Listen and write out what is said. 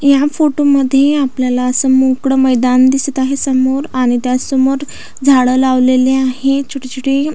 या फोटो मध्ये आपल्याला अस मोकळ मैदान दिसत आहे समोरआणि त्यासमोर झाड लावलेले आहे छोटे छोटे.